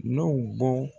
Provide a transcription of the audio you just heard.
N'o bɔ